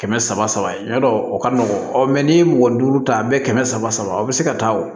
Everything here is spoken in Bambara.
Kɛmɛ saba y'a dɔ o ka nɔgɔn n'i ye mɔgɔ duuru ta a bɛ kɛmɛ saba aw bɛ se ka taa o